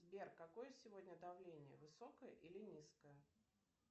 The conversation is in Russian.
сбер какое сегодня давление высокое или низкое